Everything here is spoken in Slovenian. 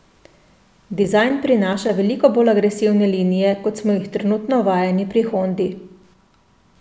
Dizajn prinaša veliko bolj agresivne linije, kot smo jih trenutno vajeni pri Hondi.